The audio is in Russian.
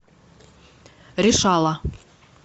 решала